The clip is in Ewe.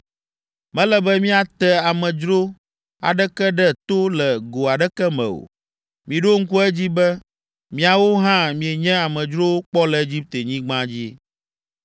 “Mele be miate amedzro aɖeke ɖe to le go aɖeke me o; miɖo ŋku edzi be miawo hã mienye amedzrowo kpɔ le Egiptenyigba dzi.